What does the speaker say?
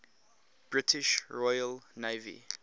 british royal navy